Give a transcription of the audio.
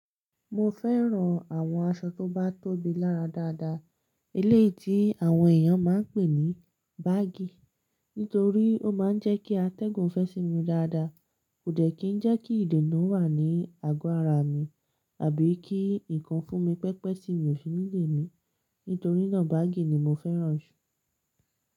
Mo fẹ́ran àwọn aṣọ tó bá tóbi lára dáadáa, eléyìí tí àwọn èèyàn máa n pè ní baggy, nítorí ó máa n jẹ́ kí atẹ́gùn fẹ́ sí mi dáadáa. Kò dẹ̀ kí n jẹ́ kí ìdènà wà ní àgọ́ ara mi àbí kí ǹkan fún mi pẹ́pẹ́ tí mi ò fi ní lé mi, nítorí náà baggy ni mo fẹ́ran jù.